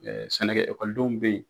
sɛnɛkɛ ekɔlidenw bɛ yen